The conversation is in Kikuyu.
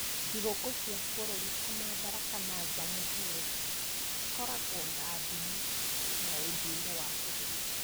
Thigũkũ cia bũrũri ta Madaraka na Jamhuri, cikoragwo na ndini na ũndũire wa bũrũri.